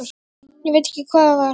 Ég veit ekki hvað það var.